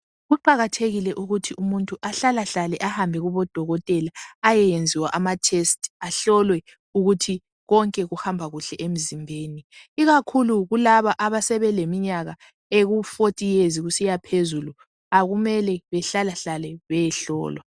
Kuqakathekile ukuthi umuntu ahlalehlale ahambe kubodokotela ayeyenziwa amatest ahlolwe ukuthi konke kuhamba kuhle emzimbeni ikakhulu laba abasebeleminyaka eku40 years kusiya phezulu kumele behlalehlale beyohlolwa.